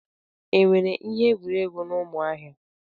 Enwere ihe egwuregwu na Umuahia?